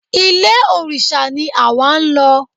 Ilé òrìṣà ni àwa ń lọ.